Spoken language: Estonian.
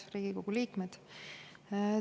Head Riigikogu liikmed!